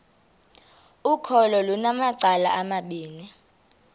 ukholo lunamacala amabini